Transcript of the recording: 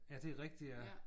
Ja det er rigtigt ja